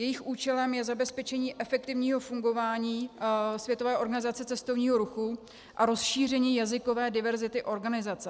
Jejich účelem je zabezpečení efektivního fungování Světové organizace cestovního ruchu a rozšíření jazykové diverzity organizace.